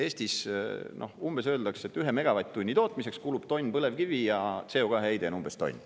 Eestis umbes öeldakse, et 1 megavatt-tunni tootmiseks kulub tonn põlevkivi ja CO2 heide on umbes tonn.